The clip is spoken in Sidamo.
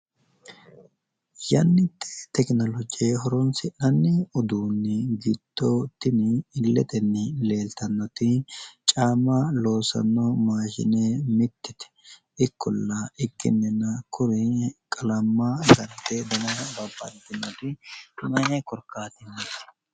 yannite tekinoloje horonsinanni uduunnni giddo tini tini illetenni leeltannoti caamma loossanno maashine mittete ikkolla ikkinina kuri qalamma baxxe dana babbaxinori mayi korkaatinniiti?